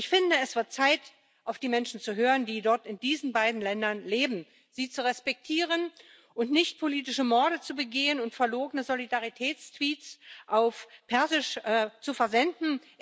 Und ich finde, es wird Zeit, auf die Menschen zu hören, die dort in diesen beiden Ländern leben, sie zu respektieren und nicht politische Morde zu begehen und verlogene Solidaritätstweets auf Persisch zu versenden.